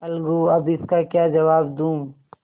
अलगूअब इसका क्या जवाब दूँ